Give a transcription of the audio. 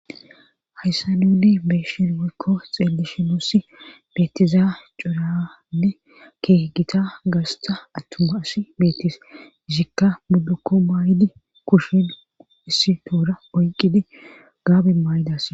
hayssa nunne beeshin woykko xeellishinossi beetizaa cuuranne kee gita gasta attuma asi beetis ishikka muddukko maay7di kushen issi toora oyqqidi gaabe maayidas